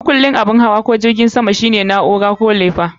Makullin abin hawa ko jirgin sama shine na'ura ko lefa.